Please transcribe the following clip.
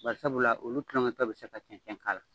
Barisabula, olu kulonkɛtɔ bɛ se ka cɛncɛn k'a la.